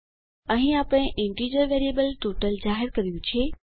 અહીં આપણે integer variable total જાહેર કર્યું છે